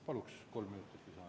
Paluks kolm minutit lisaaega.